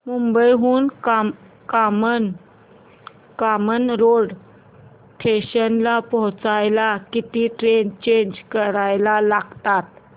मुंबई हून कामन रोड स्टेशनला पोहचायला किती ट्रेन चेंज कराव्या लागतात